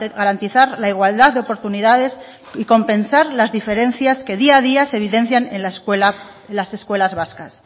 garantizar la igualdad de oportunidades y compensar las diferencias que día a día se evidencian en las escuelas vascas